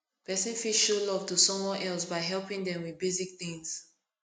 person fit show love to someone else by helping them with basic things